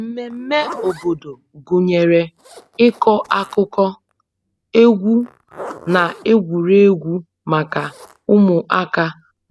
Mmemmé obodo gụnyere ịkọ akụkọ, egwu, na egwuregwu maka ụmụaka